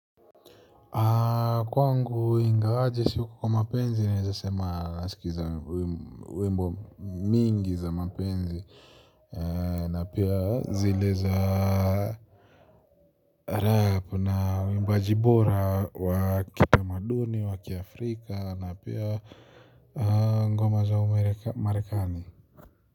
Kwangu ingawaje siuko kwa mapenzi, naeza sema naskiza wimbo mingi za mapenzi na pia zile za rap na uwimbaji bora wa kitamaduni, wa kiaafrika na pia ngoma za umarekani.